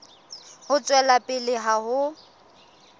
ho tswela pele ka ho